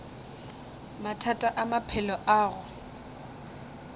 mathata a maphelo a go